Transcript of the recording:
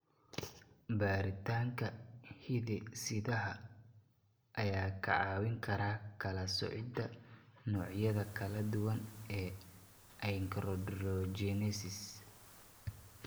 Baaritaanka hidde-sidaha ayaa kaa caawin kara kala soocida noocyada kala duwan ee achondrogenesis.